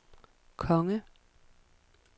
konge